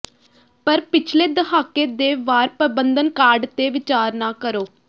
ਪਰ ਪਿਛਲੇ ਦਹਾਕੇ ਦੇ ਵਾਰ ਪ੍ਰਬੰਧਨ ਕਾਢ ਤੇ ਵਿਚਾਰ ਨਾ ਕਰੋ